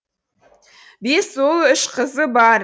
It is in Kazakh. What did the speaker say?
бес ұл үш қызы бар